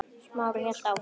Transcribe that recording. Smári hélt áfram.